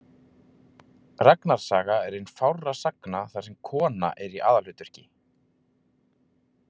Ragnars saga er ein fárra sagna þar sem kona er í aðalhlutverki.